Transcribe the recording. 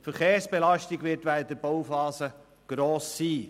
Die Verkehrsbelastung wird während der Bauphase gross sein.